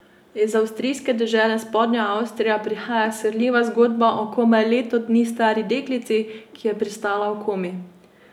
Iz avstrijske dežele Spodnja Avstrija prihaja srhljiva zgodba o komaj leto dni stari deklici, ki je pristala v komi.